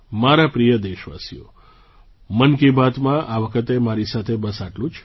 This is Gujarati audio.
મારા પ્રિય દેશવાસીઓ મન કી બાતમાં આ વખતે મારી સાથે બસ આટલું જ